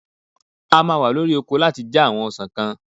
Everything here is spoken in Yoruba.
A máa wa lórí oko láti já àwọn ọsàn kan.